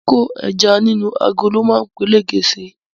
Kíkó ẹja nínú agolo ma peléke si